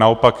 Naopak.